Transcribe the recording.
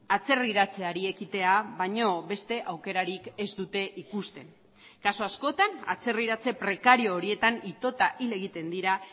atzerriratzeari ekitea baino beste aukerarik ez dute ikusten kasu askotan atzerriratze prekario horietan itota hil egiten dira